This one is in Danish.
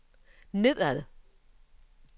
nedad